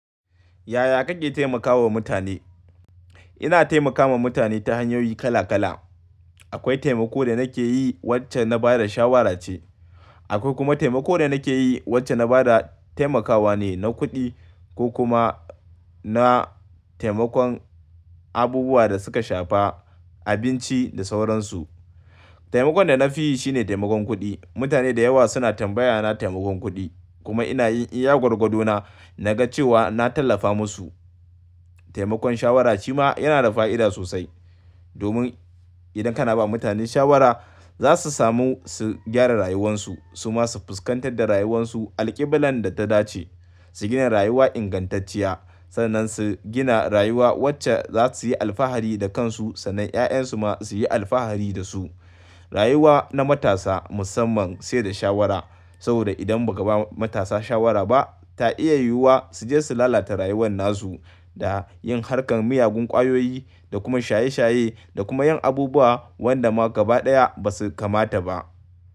Yaya kake taimakawa mutane? Ina taimakawa mutane ta hanyoyi kala kala. Akwai taimako da nake yi wacce na bada shawara ce. Akwai kuma taimako da nake yi wacce na bada taimakawa ne na kuɗi ko kuma na taimakon abubuwa da suka shafa, abinci da sauransu. Taimakon da na fi yi shine taimakon kuɗi. Mutane da yawa suna tambaya na taimakon kuɗi kuma ina yin iya gwagwadona na ga cewa na tallafa musu. Taimakon shawara shima yana da fa'ida sosai domin idan kana ba mutane shawara, za su samu su gyara rayuwansu, su ma su fuskantar da rayuwansu alƙiblan da ta dace, su gina rayuwa ingantacciya, sannan su gina rayuwa wacce za su yi alfahari da kansu sannan 'ya'yan su ma su yi alfahari da su. Rayuwa na matasa musamman sai da shawara saboda idan ba ka ba matasa shawara ba, ta iya yiwuwa su je su lalata rayuwan na su da yin harkar miyagun ƙwayoyi da kuma shaye shaye da kuma yin abubuwa wanda ma gaba ɗaya ba su kamata ba.